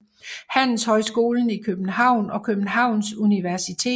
Handelshøjskolen i København og Københavns Universitet